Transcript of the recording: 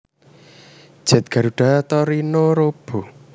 Jet Garuda Tori no Robo